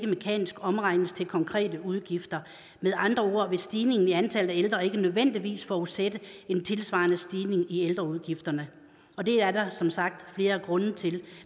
mekanisk omregnes til konkrete udgifter med andre ord vil stigningen i antallet af ældre ikke nødvendigvis forudsætte en tilsvarende stigning i ældreudgifterne og det er der som sagt flere grunde til